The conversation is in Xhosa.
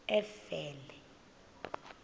efele